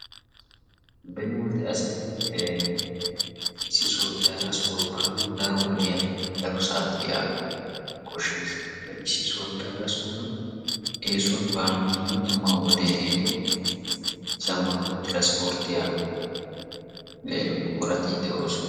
Beni wode asay ee issi sohuwappe hara sohuwa baanawu daro wodiyanne daro saatiya koshshees. Ha"i issi sohuwappe hara sohuwa eesuwan baanawu dumma dumma wodee ehiido zammaana tiranspporttiya buqurati de'oosona.